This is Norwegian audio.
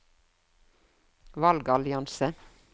valgallianse